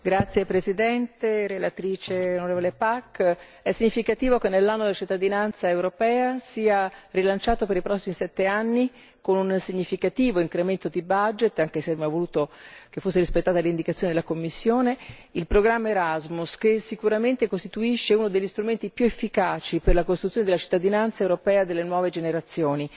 Signor Presidente, onorevole relatrice Pack, è significativo che nell'Anno della cittadinanza europea sia rilanciato per i prossimi sette anni con un significativo incremento di anche se avremmo voluto che fosse rispettata l'indicazione della commissione il programma Erasmus, che sicuramente costituisce uno degli strumenti più efficaci per la costruzione della cittadinanza europea delle nuove generazioni,